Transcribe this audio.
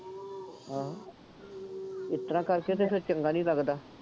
ਇਸ ਤਰ੍ਹਾਂ ਕਰਕੇ ਤੇ ਫੇਰ ਚੰਗਾ ਨਹੀਂ ਲੱਗਦਾ।